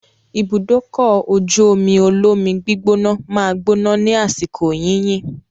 Ibùdókọ̀-ojú-omi olómi gbígbóná máa gbóná ní àsìkò yìnyín.